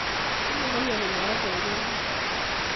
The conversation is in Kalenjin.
Tinye nemioni moet eng keldo